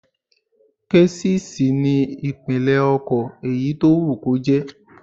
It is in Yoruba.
Késìsì ni ìpínlẹ̀ ọkọ̀ èyí tó wù kó jẹ́